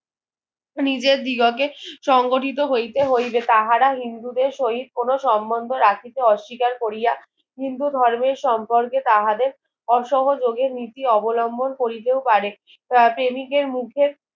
নিজের দিগকে সংগঠিত হইতে হইবে তাহারা হিন্দুদের সহিৎ কোনো সম্মোধ রাখিতে অস্বীকার কোরিয়া হিন্ধু ধর্মের সম্পর্কে তাহাদের অসহযোগের নীতি অবলম্বন করিতেও পারে তা তিনেকের মুখের